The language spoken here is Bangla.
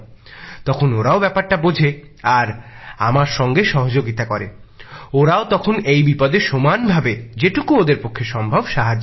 তখন ওরাও ব্যাপারটা বোঝে আর আমার সঙ্গে সহযোগিতা করে ওরাও তখন এই বিপদে সমান ভাবে যেটুকু ওদের পক্ষে সম্ভব সাহায্য করে